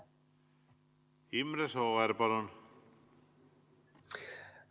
Imre Sooäär, palun!